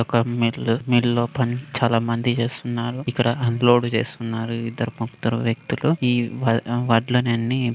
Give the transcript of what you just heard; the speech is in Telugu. ఒక మిల్లు మిల్లు లో పని చాలా మంది చేస్తున్నారు ఇక్కడ అన్లోడ్ చేస్తున్నారు ఈ ఇద్దరు ముగ్గురు వ్యక్తులు ఈ వడ్లని అన్నీ --